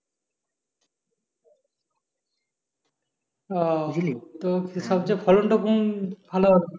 আহ তো সবচেয়ে ফলনটা কোন ভালো